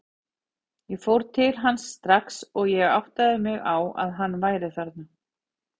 Ég fór til hans strax og ég áttaði mig á að hann væri þarna.